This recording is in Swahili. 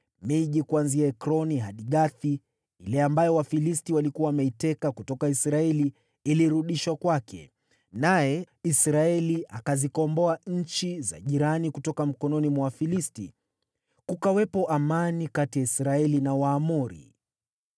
Miji kuanzia Ekroni hadi Gathi, ile ambayo Wafilisti walikuwa wameiteka kutoka Israeli, ilirudishwa kwake, naye Israeli akazikomboa nchi jirani mikononi mwa Wafilisti. Kukawepo amani kati ya Israeli na Waamori.